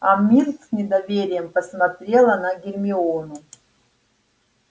а миртл с недоверием посмотрела на гермиону